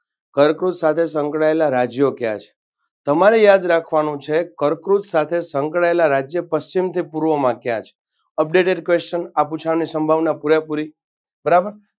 કર્કવૃત સાથે સંકળાયેલા રાજ્યો કયા છે. તમારે યાદ રાખવાનું છે કર્કવૃત સાથે સંકળાયેલા રાજ્યો પશ્ચિમથી પૂર્વમાં કયા છે updated question આ પૂછાવાની સાંભવના પૂરેપૂરી બરાબર